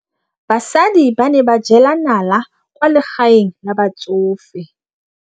Basadi ba ne ba jela nala kwaa legaeng la batsofe.